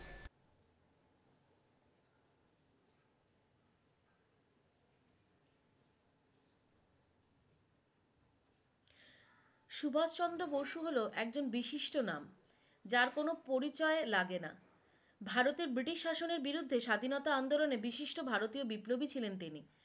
সুভাস চন্দ্র বসু হলো একজন বিশিষ্ট নাম যার কোন পরিচয় লাগে নাহ, ভারতে ব্রিটিশ শাসনের বিরুদ্ধে স্বাধীনতার আন্দোলনে বিশিষ্ট ভারতীয় বিপ্লবী ছিলেন তিনি